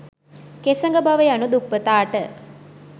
කෙසඟ බව යනු දුප්පතාට